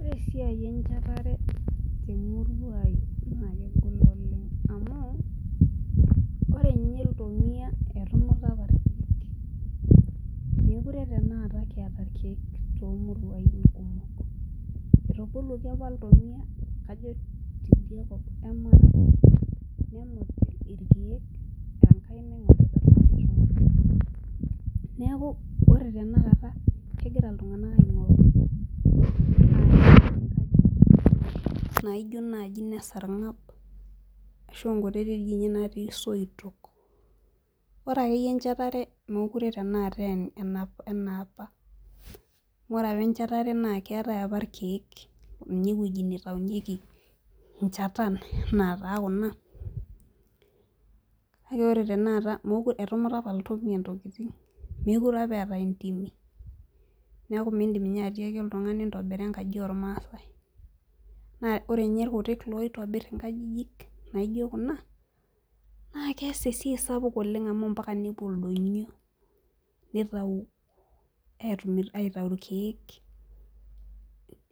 Ore esiaa enchetare temurua aai naa kegol oleng amuu oree ninye ntomia etumutaa apa irkiek mekuree tanakataa kiataa irkiek too muruan etabolutoo apa into ilntomia tibia kob eee mara nemut irkiek neeku oree tanakataa kegiraa iltunganak ashet inkajijik naaijo naaji ine sarmang ashuu inkutitik natii isoitok oree akeyiee enchetaree mekuree aaa enapa amuu oree echetaree siapa naa keetae apa irkiek Neeta ewuejii nitayunyiekii enchataa enaa kuna kakee oree tenakataa etumutaa apa ilntomia into intokitin mekuree apa eetae ntimii neeku mindim atakii olntungani intobiraa enkajii ooo masae naa oree irkutik ootobirr nkajiji naaijo kuna naa keess esiai sapuk amuu mpakaa pee epuo ilndonyioo nitayuu irkiek